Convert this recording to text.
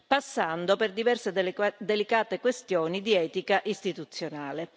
passando per diverse delicate questioni di etica istituzionale.